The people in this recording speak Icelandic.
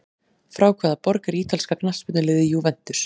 Frá hvaða borg er ítalska knattspyrnuliðið Juventus?